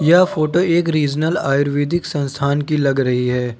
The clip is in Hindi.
यह फोटो एक रिजनल आयुर्वेदिक संस्थान की लग रही है।